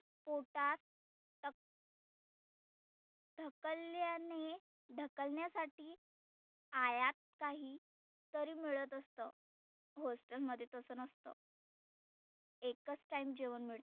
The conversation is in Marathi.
पोटात अक ढकलल्याने ढकलण्यासाठी आयात काही तरी मिळत असतं. hostel मध्ये तसं नसतं. एकच time जेवण मिळतं.